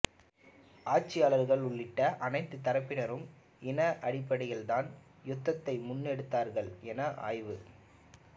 ஆட்சியாளர்கள் உள்ளிட்ட அனைத்துத் தரப்பினரும் இன அடிப்படையில்தான் யுத்தத்தை முன்னெடுத்தார்கள் என ஆய்வ